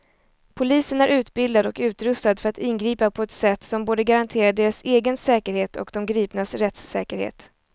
Polisen är utbildad och utrustad för att ingripa på ett sätt som både garanterar deras egen säkerhet och de gripnas rättssäkerhet.